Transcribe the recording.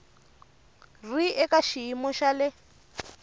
ri eka xiyimo xa le